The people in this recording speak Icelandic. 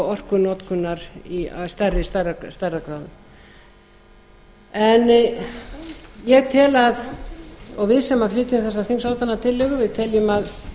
orkunotkunar af stærri stærðargráðu en ég tel og við sem flytjum þessa þingsályktunartillögu teljum að